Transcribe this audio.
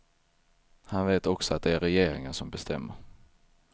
Han vet också att det är regeringen som bestämmer.